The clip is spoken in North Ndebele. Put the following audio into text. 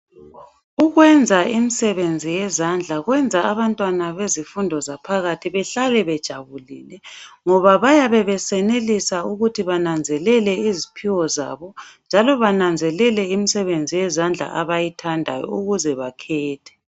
Ukwenza imisebenzi yezandla kwenza abantwana bezifundo zaphakathi behlale bejabulile ngoba bayabe besenelisa ukuthi bananzelele iziphiwo zabo njalo bananzelele imisebenzi yezandla abayithandayo ukuze bakhethe.